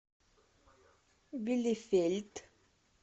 билефельд